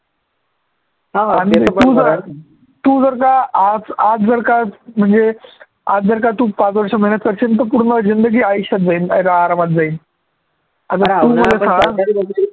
हा तू जर तू जर का आज आज जर का म्हणजे आज जर का तू पाच वर्ष मेहनत करशील तर पूर्ण जिंदगी आयुष्यात जाईल आरामात जाईल